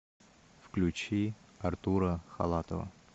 включи артура халатова